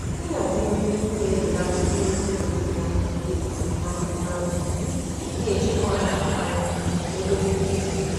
Ịhazi nri n'ihu na-ebelata ihe oriri na-efunahụ ma um na-echekwa um ego n'ime izu.